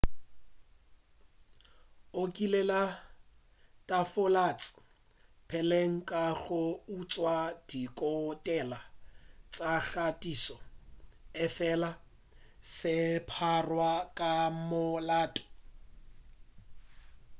o kile a latofatša peleng ka go utšwa ditokelo tša kgathišo efela a se a pharwa ka molato